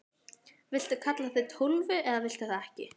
Viltu kalla þig Tólfu eða viltu það ekki?